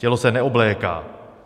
Tělo se neobléká.